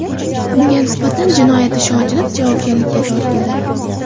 Unga nisbatan jinoyat ishi ochilib, javobgarlikka tortildi.